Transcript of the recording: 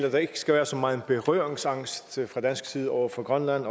at der ikke skal være så meget berøringsangst fra dansk side over for grønland